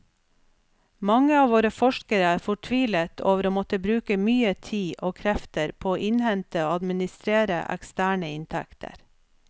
Mange av våre forskere er fortvilet over å måtte bruke mye tid og krefter på å innhente og administrere eksterne inntekter.